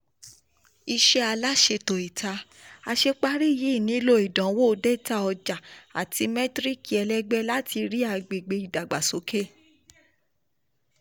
iṣẹ́ aláṣetò ìta: àṣeparí yìí nílò ìdánwò data ọjà àti mẹ́tíríkì ẹlẹ́gbẹ́ láti rí agbègbè ìdàgbàsókè.